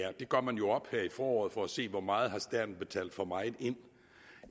er det gør man jo op her i foråret for at se hvor meget staten har betalt for meget ind